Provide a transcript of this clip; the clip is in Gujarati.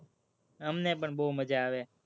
અમને પણ બોવ મજા આવે.